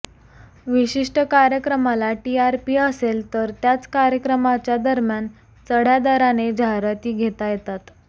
विशिष्ट कार्यक्रमाला टीआरपी असेल तर त्याच कार्यक्रमाच्या दरम्यान चढ्या दराने जाहिराती घेता येतात